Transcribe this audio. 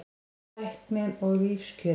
Tæknin og lífskjörin